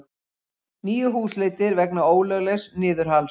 Níu húsleitir vegna ólöglegs niðurhals